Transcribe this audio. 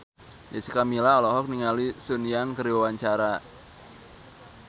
Jessica Milla olohok ningali Sun Yang keur diwawancara